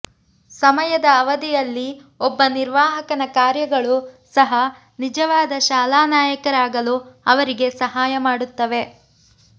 ಸಮಯದ ಅವಧಿಯಲ್ಲಿ ಒಬ್ಬ ನಿರ್ವಾಹಕನ ಕಾರ್ಯಗಳು ಸಹ ನಿಜವಾದ ಶಾಲಾ ನಾಯಕರಾಗಲು ಅವರಿಗೆ ಸಹಾಯ ಮಾಡುತ್ತವೆ